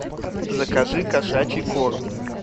закажи кошачий корм